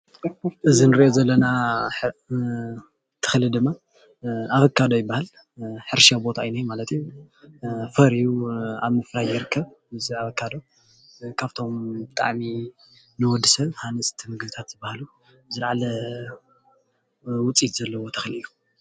እዚ እንሪኦ ዘለና ተኽሊ ድማ ኣቨካዶ ይበሃል፡፡ ሕርሻ ቦታ እዩ ዝነሄ ማለት እዩ፡፡ ፈርዩ ኣብ ምፍራይ ይርከብ፡፡ እዚ ኣቨካዶ ካብቶም ብጣዕሚ ንወድሰብ ሃነፅቲ ምግብታት ዝባሃሉ ዝላዓለ ውፅኢት ዘለዎ ተኽሊ እዩ፡፡